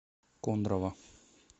кондрово